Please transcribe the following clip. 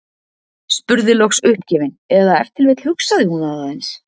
Spurði loks uppgefin- eða ef til vill hugsaði hún það aðeins